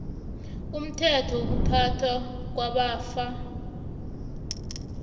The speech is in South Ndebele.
umthetho wokuphathwa kwamafa